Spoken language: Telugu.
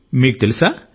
మీకు తెలుసా